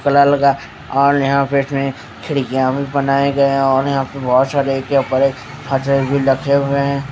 और यहाँ पर इसमें खिडकिया भी बनाये गए है और यहाँ पर बहुत सारे रखे हुए है।